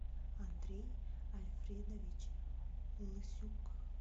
андрей альфредович лысюк